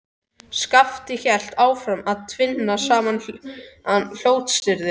Skapti hélt áfram að tvinna saman blótsyrðin.